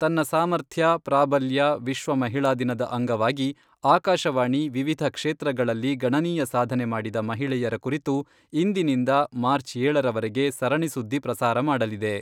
ತನ್ನ ಸಾಮರ್ಥ್ಯ, ಪ್ರಾಬಲ್ಯ ವಿಶ್ವ ಮಹಿಳಾ ದಿನದ ಅಂಗವಾಗಿ ಆಕಾಶವಾಣಿ ವಿವಿಧ ಕ್ಷೇತ್ರಗಳಲ್ಲಿ ಗಣನೀಯ ಸಾಧನೆ ಮಾಡಿದ ಮಹಿಳೆಯರ ಕುರಿತು ಇಂದಿನಿಂದ ಮಾರ್ಚ್ ಏಳರವರೆಗೆ ಸರಣಿ ಸುದ್ದಿ ಪ್ರಸಾರ ಮಾಡಲಿದೆ.